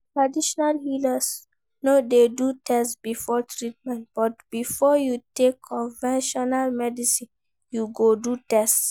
Traditional healers no de do test before treatment but before you take conventional medicine you go do test